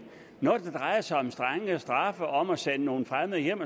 når det drejer sig om strengere straffe om at sende nogle fremmede hjem